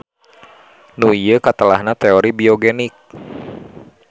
Nu ieu katelahna teori biogenik.